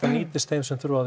nýtist þeim sem þurfa á